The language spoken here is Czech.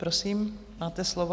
Prosím, máte slovo.